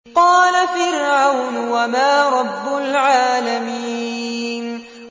قَالَ فِرْعَوْنُ وَمَا رَبُّ الْعَالَمِينَ